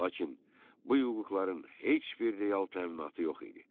Lakin bu hüquqların heç bir real təminatı yox idi.